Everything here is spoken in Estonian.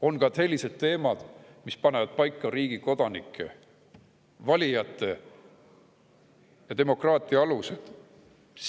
On sellised teemad, mis panevad paika riigi kodanike, valijate ja demokraatia alused.